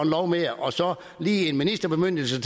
lov mere og så lige en ministerbemyndigelse